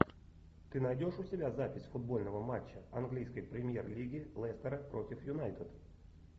ты найдешь у себя запись футбольного матча английской премьер лиги лестера против юнайтед